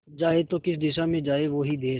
जाए तो किस दिशा में जाए वो ही देस